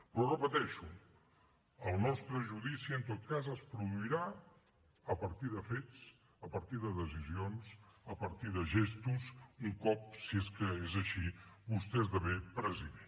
però ho repeteixo el nostre judici en tot cas es produirà a partir de fets a partir de decisions a partir de gestos un cop si és que és així vostè esdevingui president